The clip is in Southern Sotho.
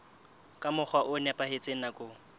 ka mokgwa o nepahetseng nakong